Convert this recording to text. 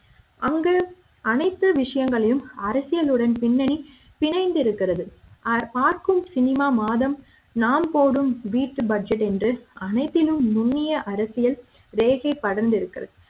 அங்கு அனைத்து விஷயங்களும் அரசியலுடன் பின்னி பிணைந்து இருக்கிறது பார்க்கும் cinema மாதம் நாம் போடும் வீட்டு பட்ஜெட் என்று அனைத்திலும் நுனிய அரசியல் ரேகை படர்ந்து இருக்கிறது